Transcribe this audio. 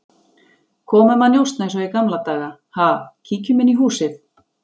Komum að njósna eins og í gamla daga, ha, kíkjum inn í húsið